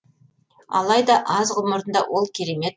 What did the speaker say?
алайда аз ғұмырында ол керемет